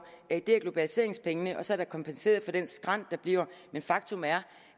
er globaliseringspengene og så er der kompenseret for den skrænt der bliver men faktum er